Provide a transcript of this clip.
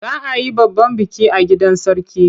Za a yi babban biki a gidan Sarki.